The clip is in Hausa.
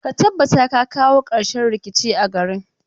Ka tabbata ka kawo ƙarshen rikicin a garin.